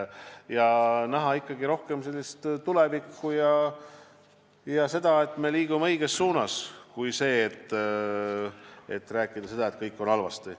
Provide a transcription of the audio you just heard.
On vaja näha ikkagi seda, et me liigume õiges suunas, mitte rääkida, et kõik on halvasti.